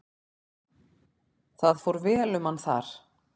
Það fór vel um hann þar.